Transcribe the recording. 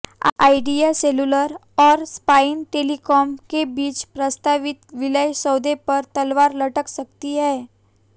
idea Cellular और Spice Telecom के बीच प्रस्तावित विलय सौदे पर तलवार लटक सकती है